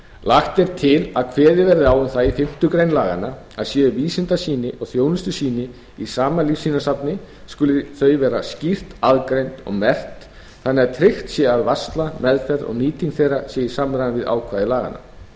lagt er til að kveðið verði á um það í fimmtu grein laganna að séu vísindasýni og þjónustusýni í sama lífsýnasafni skuli þau vera skýrt aðgreind og merkt þannig að tryggt sé að varsla meðferð og nýting þeirra sé í samræmi við ákvæði laganna